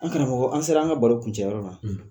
An karamɔgɔ an se la an ka baro kuncɛyɔrɔ ma.